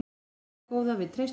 Jæja góða, við treystum þér.